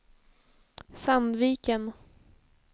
Sandviken